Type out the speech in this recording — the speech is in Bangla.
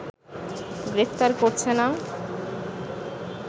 গ্রেফতার করছে না